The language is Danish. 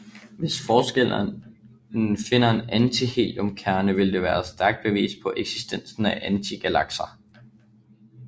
Hvis forskerne finder en antiheliumkerne vil det være et stærkt bevis på eksistensen af antigalakser